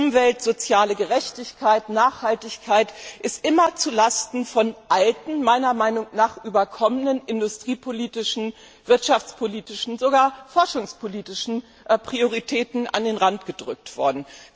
Umwelt, soziale Gerechtigkeit, Nachhaltigkeit sind immer zulasten von alten, meiner Meinung nach überkommenen industriepolitischen, wirtschaftspolitischen, sogar forschungspolitischen Prioritäten an den Rand gedrängt worden.